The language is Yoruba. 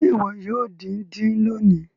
Ṣe iwọ yoo din-din loni?